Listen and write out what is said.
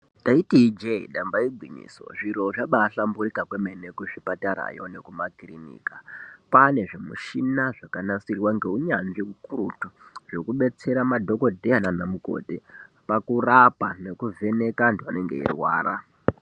Taiti ijee damba igwinyiso zviro zvabaahamburika kwemene kuzvipatarayo nekumakirinika, kwaane zvimishina zvakanasirwa ngeunyanzvi ukurutu zvekudetsera madhogodheya nana mukoti pakurapa nekuvheneka vantu vanenge veirwara.